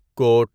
کوٹ